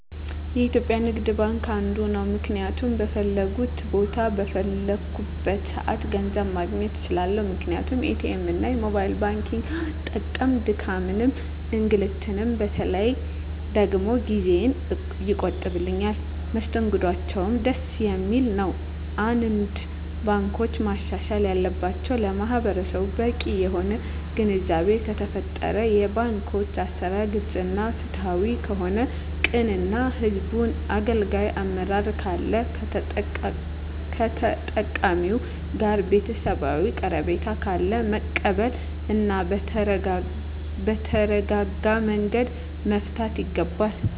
የኢትዩጲያ ንግድባንክ አንዱ ነዉ ምክንያቱም በፈለኩት ቦታ በፈለኩበት ሰአት ገንዘብ ማግኘት እንችላለን ምክንያቱም ኢትኤምእና የሞባይል ባንኪግን በመጠቀም ድካምንም እንግልትም በተለይ ደግሞ ጊዜየን ይቆጥብልኛል መስተንግዶአቸዉም ደስ የሚል ነዉ አንዳንድ ባንኮች ማሻሻል ያለባቸዉ ለማህበረሰቡ በቂ የሆነ ግንዛቤ ከተፈጠረ የባንኮች አሰራር ግልፅ እና ፍትሀዊ ከሆነ ቅን እና ህዝቡን አገልጋይ አመራር ካለ ከተጠቃሚዉ ጋር ቤተሰባዊ ቀረቤታ ካለ መቀበል እና በተረጋጋመንገድ መፍታት ይገባል